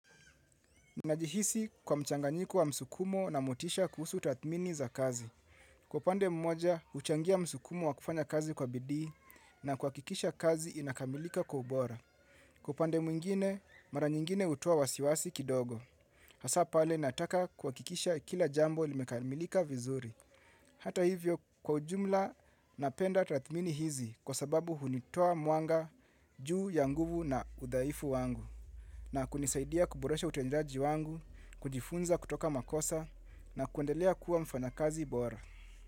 Najihisi kwa mchanganyiko wa msukumo na motisha kuhusu tathmini za kazi. Kwa pande mmoja, huchangia msukumo wa kufanya kazi kwa bidii na kuhakikisha kazi inakamilika kwa ubora. Kwa upande mwingine, mara nyingine hutoa wasiwasi kidogo. Hasa pale, nataka kuhakikisha kila jambo limekamilika vizuri. Hata hivyo, kwa ujumla, napenda tathmini hizi kwa sababu hunitoa mwanga juu ya nguvu na udhaifu wangu. Na kunisaidia kuboresha utendaji wangu, kujifunza kutoka makosa na kuendelea kuwa mfanyakazi bora.